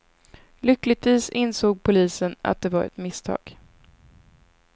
Lyckligtvis insåg polisen att det var ett misstag.